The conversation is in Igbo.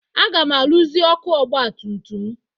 Aga m arụzi ọkụ ọgbatutum m.